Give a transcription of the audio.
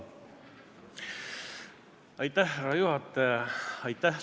Härra juhataja!